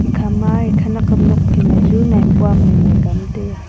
ekhama ee khanakam nokphai ma chu maipua maimai ka nu taiya.